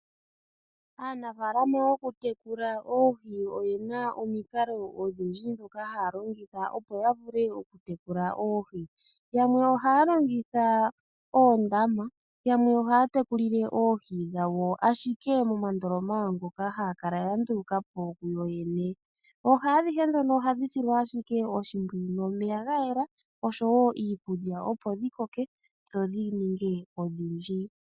Aanafaalama yoku tekula oohi oye na omukalo omiwanawa dhoku tekula oohi. Yamwe ohaya longitha oondama. Yamwe ohaya tekulile oohi dhawo ashike momandoloma ngoka haya kala ya nduluka po kuyo yene. Oohi adhihe ndhono ohadhi etelwa ashike oshimpwiyu nomeya gayela oshowo iikulya opo dhi ninge odhindji.